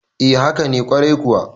e haka nekwarai kuwa